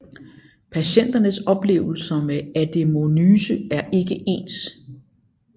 Patienternes oplevelser med adenomyose er ikke ens